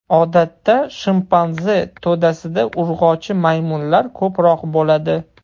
Odatda, shimpanze to‘dasida urg‘ochi maymunlar ko‘proq bo‘ladi.